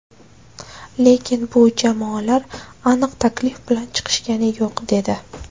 Lekin bu jamoalar aniq taklif bilan chiqishgani yo‘q” dedi.